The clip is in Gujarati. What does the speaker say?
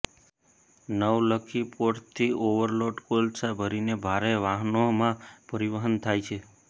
નવલખી પોર્ટથી ઓવરલોડ કોલસા ભરીને ભારે વાહનોમાં પરિવહન થાય છે